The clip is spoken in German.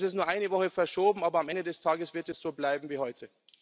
Das ist nur um eine Woche verschoben, aber am Ende des Tages wird es so bleiben wie heute.